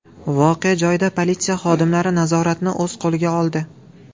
Voqea joyida politsiya xodimlari nazoratni o‘z qo‘liga oldi.